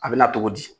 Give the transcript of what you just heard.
A bɛ na togo di